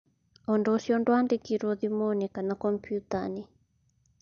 Ũndũ ũcio ndwaandĩkirũo thimũ-inĩ kana kompiuta-inĩ.